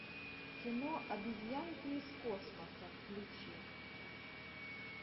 кино обезьянки из космоса включи